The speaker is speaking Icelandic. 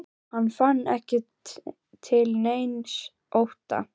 Hann fann ekki til neins ótta.